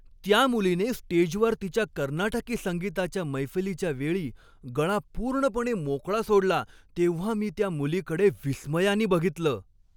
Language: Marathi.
त्या मुलीने स्टेजवर तिच्या कर्नाटकी संगीताच्या मैफलीच्या वेळी गळा पूर्णपणे मोकळा सोडला तेव्हा मी त्या मुलीकडे विस्मयानी बघितलं.